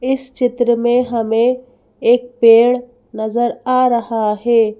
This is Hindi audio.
इस चित्र में हमें एक पेड़ नजर आ रहा है।